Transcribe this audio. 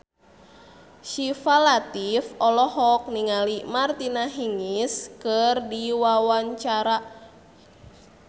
Syifa Latief olohok ningali Martina Hingis keur diwawancara